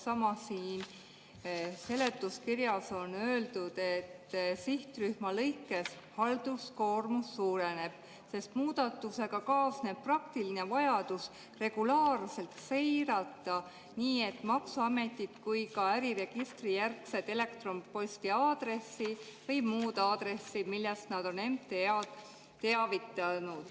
Samas on seletuskirjas öeldud, et sihtrühma lõikes halduskoormus suureneb, sest muudatusega kaasneb praktiline vajadus regulaarselt seirata nii maksuameti kui ka äriregistrijärgset elektronposti aadressi või muud aadressi, millest nad on MTA-d teavitanud.